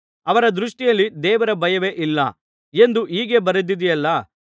ಅವರ ದೃಷ್ಟಿಯಲ್ಲಿ ದೇವರ ಭಯವೇ ಇಲ್ಲ ಎಂದು ಹೀಗೆ ಬರೆದಿದೆಯಲ್ಲಾ